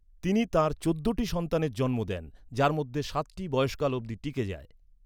তিনি তাঁর চৌদ্দটি সন্তানের জন্ম দেন, যার মধ্যে সাতটি বয়সকাল অবধি টিকে যায়।